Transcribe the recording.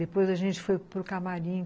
Depois a gente foi para o camarim.